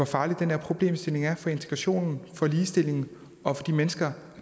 farlig den her problemstilling er for integrationen for ligestillingen og for de mennesker